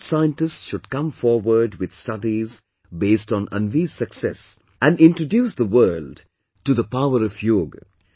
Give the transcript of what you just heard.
Such scientists should come forward with studies based on Anvi's success and introduce the world to the power of yoga